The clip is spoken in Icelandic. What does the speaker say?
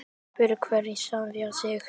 Spyrji hver sjálfan sig.